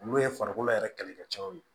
Olu ye farikolo yɛrɛ kɛlɛkɛcɛw ye